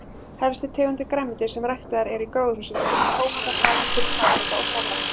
Helstu tegundir grænmetis sem ræktaðar eru í gróðurhúsum eru nú tómatar, agúrkur, paprika og salat.